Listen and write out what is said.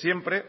siempre